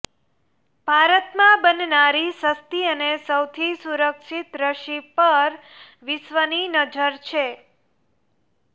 ભારતમાં બનનારી સસ્તી અને સૌથી સુરક્ષિત રસી પર વિશ્વની નજર છે